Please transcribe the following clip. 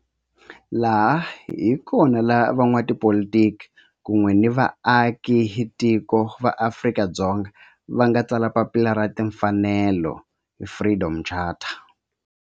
Laha hi kona la van'watipolitiki kun'we ni vaaka tiko va Afrika-Dzonga va nga tsala papila ra timfanelo, Freedom Charter.